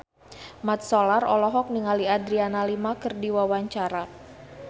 Mat Solar olohok ningali Adriana Lima keur diwawancara